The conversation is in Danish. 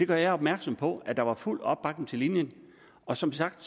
gør jeg opmærksom på at der var fuld opbakning til linjen og som sagt